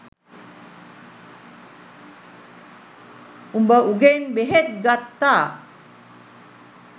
උඹ උගෙන් බෙහෙත් ගත්තා